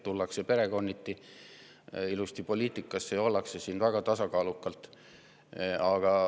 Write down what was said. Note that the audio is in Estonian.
Tullakse poliitikasse ilusti perekonniti ja ollakse siin väga tasakaalukalt.